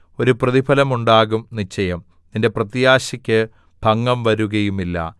ഒരു പ്രതിഫലം ഉണ്ടാകും നിശ്ചയം നിന്റെ പ്രത്യാശക്ക് ഭംഗം വരുകയുമില്ല